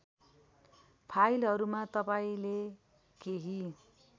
फाइलहरूमा तपाईँले केही